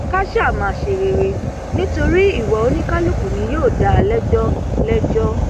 ká sá máa ṣe rere nítorí ìwà oníkálukú ni yóò dá a lẹjọ lẹjọ